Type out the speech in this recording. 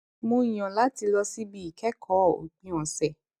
mo yàn láti lọ síbi ìkékòó òpin òsè